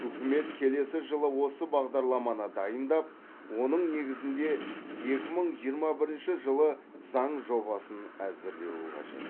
үкімет келесі жылы осы бағдарламаны дайындап оның негізінде екі мың жиырма бірінші жылы заң жобасын әзірлеуі қажет